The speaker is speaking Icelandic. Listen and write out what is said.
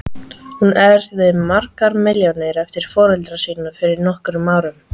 Hún erfði margar milljónir eftir foreldra sína fyrir nokkrum árum.